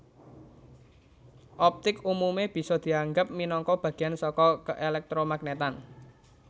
Optik umume bisa dianggep minangka bagéyan saka keelektromagnetan